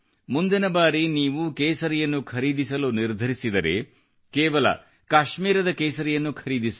ಮುಂದಿನ ಬಾರಿ ನೀವು ಕೇಸರಿಯನ್ನು ಖರೀದಿಸಲು ನಿರ್ಧರಿಸಿದರೆ ಕೇವಲ ಕಾಶ್ಮೀರದ ಕೇಸರಿಯನ್ನು ಖರೀದಿಸಿ